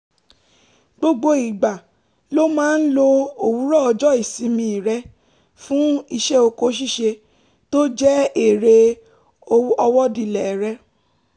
gbogbo ìgbà ló máa ń lo òwúrọ̀ ọjọ́ ìsinmi rẹ̀ fún iṣẹ́ oko ṣíṣe tó jẹ́ eré ọwọ́dilẹ̀ rẹ̀